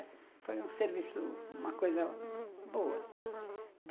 E foi um serviço, uma coisa boa.